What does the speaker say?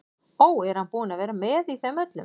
Ó, er hann búinn að vera með í þeim öllum?